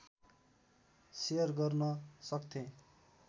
share गर्न सक्थेँ